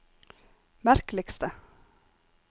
merkeligste